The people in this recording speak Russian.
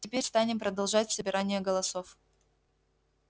теперь станем продолжать собирание голосов